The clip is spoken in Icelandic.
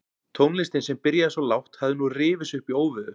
Tónlistin sem byrjaði svo lágt hafði nú rifið sig upp í óveður.